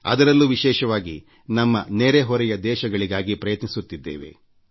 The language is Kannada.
ಅದರಲ್ಲೂ ವಿಶೇಷವಾಗಿ ನಮ್ಮ ನೆರೆ ಹೊರೆಯ ದೇಶಗಳಿಗೂ ಪ್ರಯತ್ನಿಸುತ್ತಿದ್ದೇವೆ